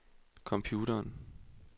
computeren